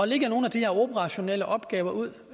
lægger nogle af de her operationelle opgaver ud